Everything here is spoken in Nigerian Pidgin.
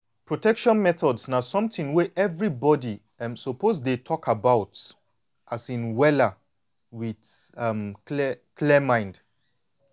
protection methods na something wey everybody um suppose dey talk about um wella with um clear clear mind